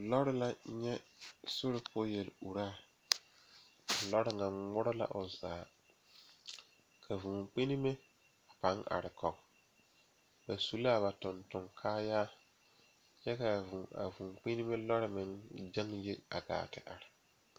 Lɔre la nyɛ sori poɔ yeluraa a lɔre ŋa ŋmore la o zaa ka vūūkpinnime a pãâ are kɔge ba su la a ba tontonkaayaa kyɛ k,a vūū vūūkpinnime lɔɔre meŋ gyɛŋ yi a te are.